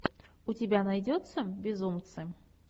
у тебя найдется безумцы